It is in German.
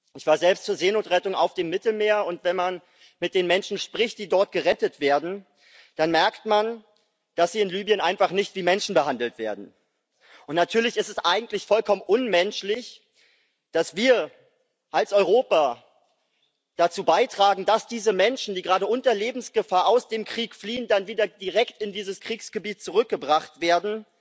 Ich war selbst zur Seenotrettung auf dem Mittelmeer, und wenn man mit den Menschen spricht, die dort gerettet werden, dann merkt man, dass sie in Libyen einfach nicht wie Menschen behandelt werden. Natürlich ist es eigentlich vollkommen unmenschlich, dass wir als Europa dazu beitragen, dass diese Menschen, die gerade unter Lebensgefahr aus dem Krieg fliehen, dann wieder direkt in dieses Kriegsgebiet zurückgebracht werden.